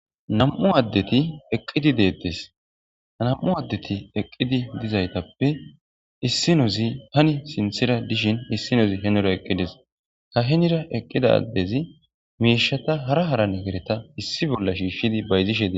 nam7u addeti eqqidi deettes nam7u addeti eqqidi dizaytappe issinozi tani sinthira dishin issinozi henora eqqides ta henira eqqida addezi miishata hara hara nehereta issi bolla shiishshidi bayzishe dees